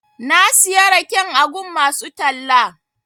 Na siya raken a gun masu talla.